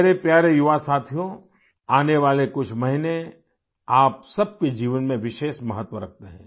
मेरे प्यारे युवा साथियो आने वाले कुछ महीने आप सब के जीवन में विशेष महत्व रखते हैं